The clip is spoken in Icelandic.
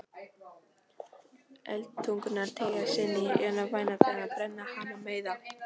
Eldtungurnar teygja sig inn í værð hennar, brenna hana, meiða.